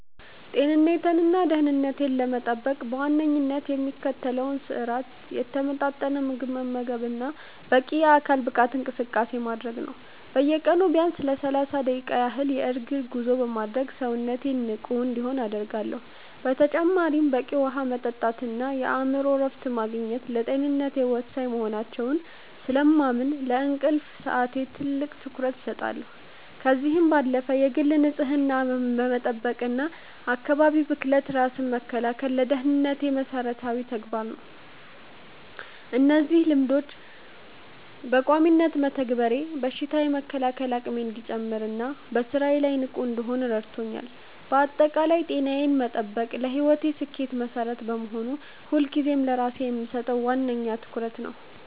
ጤንነቴንና ደህንነቴን ለመጠበቅ በዋነኝነት የምከተለው ስርአት የተመጣጠነ ምግብ መመገብና በቂ የአካል ብቃት እንቅስቃሴ ማድረግ ነው። በየቀኑ ቢያንስ ለሰላሳ ደቂቃ ያህል የእግር ጉዞ በማድረግ ሰውነቴ ንቁ እንዲሆን አደርጋለሁ። በተጨማሪም በቂ ውሃ መጠጣትና የአእምሮ እረፍት ማግኘት ለጤንነቴ ወሳኝ መሆናቸውን ስለማምን፣ ለእንቅልፍ ሰዓቴ ትልቅ ትኩረት እሰጣለሁ። ከዚህም ባለፈ የግል ንጽህናን መጠበቅና ከአካባቢ ብክለት ራስን መከላከል ለደህንነቴ መሰረታዊ ተግባራት ናቸው። እነዚህን ልማዶች በቋሚነት መተግበሬ በሽታ የመከላከል አቅሜ እንዲጨምርና በስራዬ ላይ ንቁ እንድሆን ረድቶኛል። ባጠቃላይ ጤናዬን መጠበቅ ለህይወቴ ስኬት መሰረት በመሆኑ፣ ሁልጊዜም ለራሴ የምሰጠው ዋነኛ ትኩረት ነው።